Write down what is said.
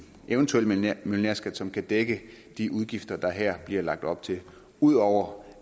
eventuel millionærskat som kan dække de udgifter der her bliver lagt op til ud over